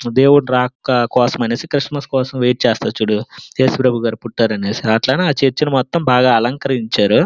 దేవుడు రాక కోసం అనేసి క్రిస్మస్ కోసం వెయిట్ చేస్తారు చూడు యేసు ప్రభు గారు పుట్టారు అనేసి అట్లనే ఆ చర్చి ని బాగా అలంకరించారు.